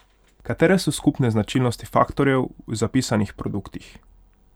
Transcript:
Katere so skupne značilnosti faktorjev v zapisanih produktih?